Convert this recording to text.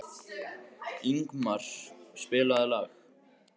Ingmar, spilaðu lag.